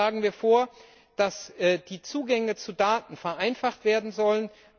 Zudem schlagen wir vor, dass die Zugänge zu Daten vereinfacht werden sollen.